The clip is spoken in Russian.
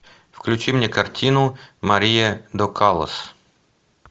включи мне картину мария до каллас